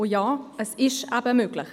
Und ja, es ist eben möglich.